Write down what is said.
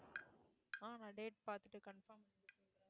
அஹ் நான் date பார்த்துட்டு confirm